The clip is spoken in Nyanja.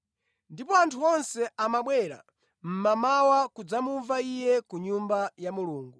Ndipo anthu onse amabwera mmamawa kudzamumva Iye ku Nyumba ya Mulungu.